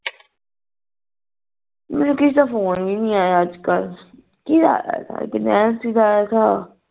ਮੈਨੂ ਕਿਸੇ ਦਾ ਫ਼ੋਨ ਵੀ ਨਹੀਂ ਆਯਾ ਅੱਜ ਕੱਲ ਕਿਦਾ ਨੈਨਸੀ ਦਾ ਆਯਾ ਥਾ